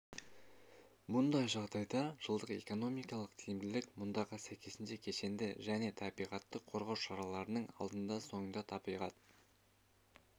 мұндай жағдайда жылдық экономикалық тиімділік мұндағы сәйкесінше кешенді және табиғатты қорғау шараларының алдында соңында табиғат